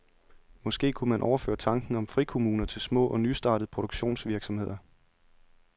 Måske kunne man overføre tanken om frikommuner til små og nystartede produktionsvirksomheder.